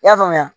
I y'a faamuya